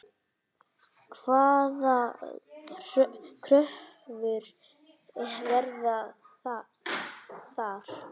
Hvaða kröfur verða þar?